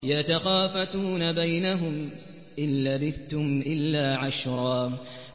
يَتَخَافَتُونَ بَيْنَهُمْ إِن لَّبِثْتُمْ إِلَّا عَشْرًا